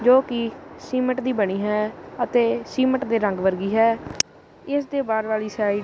ਜੋ ਕਿ ਸੀਮੈਂਟ ਦੀ ਬਣੀ ਹੈ ਅਤੇ ਸੀਮਟ ਦੇ ਰੰਗ ਵਰਗੀ ਹੈ ਇਸ ਦੇ ਬਾਹਰ ਵਾਲੀ ਸਾਈਡ --